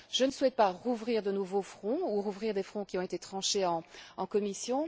Je ne souhaite pas rouvrir de nouveaux fronts ou rouvrir des fronts qui ont été tranchés en commission.